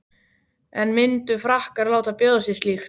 En myndu Frakkar láta bjóða sér slíkt?